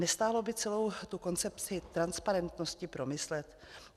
Nestálo by celou tu koncepci transparentnosti promyslet?